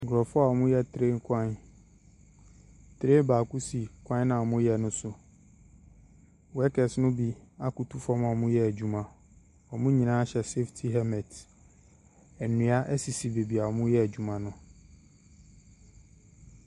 Nkurɔfoɔ a wɔreyɛ train kwan. Train baako si kwanno a wɔreyɛ no so. Workers no bi akoto fam a wɔreyɛ adwuma. Wɔn nyinaa hyɛ saftey helmet. Nnua sisi baabi a wɔreyɛ adwuma no.